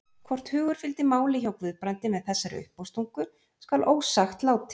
Hvort hugur fylgdi máli hjá Guðbrandi með þessari uppástungu skal ósagt látið.